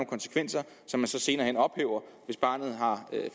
konsekvenser som man senere hen ophæver hvis barnet har